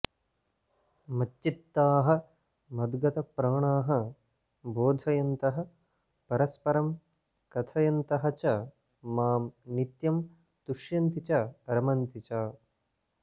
मच्चित्ताः मद्गतप्राणाः बोधयन्तः परस्परम् कथयन्तः च मां नित्यं तुष्यन्ति च रमन्ति च